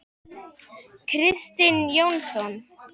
Börn: Kristinn Jónsson?